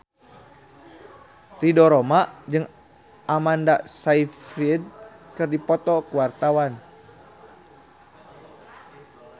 Ridho Roma jeung Amanda Sayfried keur dipoto ku wartawan